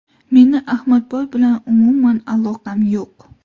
Meni Ahmadboy bilan umuman aloqam yo‘q.